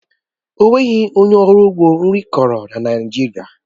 Ọ nweghị onye ọrụ ugbo nri kọrọ na Naịjirịa